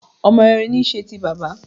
Ọmọ rere ní í ṣe ti bàbá